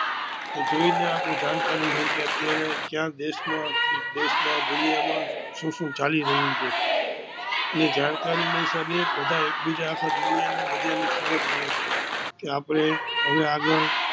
તે જોઈ ને આપણે જાણકારી રહી કે અત્યારે કયા દેસ માં અને દુનિયા માં શું શું ચાલી રહિયું છે ને જાણકારી ના હિસાબે બધા એકબીજા આખા દુનિયા ને બધા ની ખબર પડે કે આપણે હવે આગડ